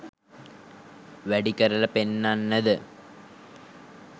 වැඩි කරල පෙන්නන්නද